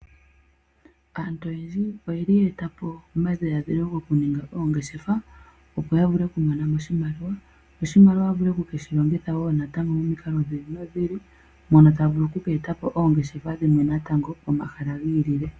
Aantu oyendji oyeli ye etapo omadhila dhilo kuninga oongeshefa opo yavule okumonamo oshimaliwa, oshimaliwa ya vule okukeshi longitha natango momikalo dhi ili nodhi ili mono tavulu oku etapo oongeshefa natango momahala gi ilile.